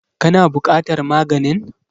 Ka na buƙatar maganin?